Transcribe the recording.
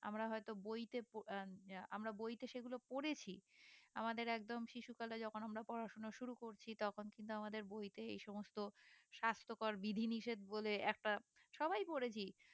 আমরা হয়তো বইতে প আহ আহ আমরা বইতে সেগুলো পড়েছি আমাদের একদম শিশুকালে যখন আমরা পড়াশোনা শুরু করছি তখন কিন্তু আমাদের বইতে এ সমস্ত স্বাস্থকর বিধি নিষেধ বলে একটা সবাই পড়েছি